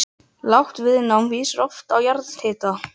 Lágt viðnám vísar oft á jarðhita